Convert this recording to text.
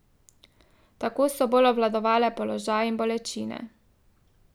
Tako so bolj obvladovale položaj in bolečine.